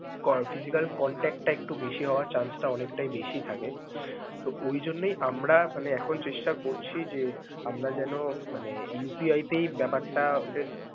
কর~ physical contact টা একটু বেশি হওয়ার chance টা অনেকটাই বেশি থাকে. তো ওই জন্যই আমরা মানে এখন চেষ্টা করছি যে আমরা যেনো মানে UPI তেই ব্যাপারটা.